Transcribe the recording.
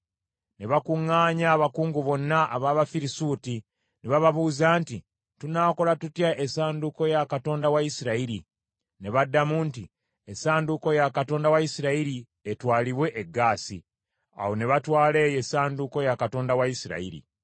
Ne bakuŋŋaanya abakungu bonna ab’Abafirisuuti ne bababuuza nti, “Tunaakola tutya essanduuko ya Katonda wa Isirayiri?” Ne baddamu nti, “Essanduuko ya Katonda wa Isirayiri etwalibwe e Gaasi.” Awo ne batwala eyo essanduuko ya Katonda wa Isirayiri.